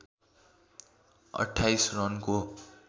२८ रनको